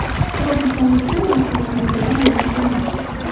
Tropikamidda narkotik moddalar mavjud emas.